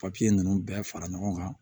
papiye nunnu bɛɛ fara ɲɔgɔn kan